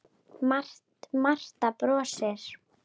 Marta brosir.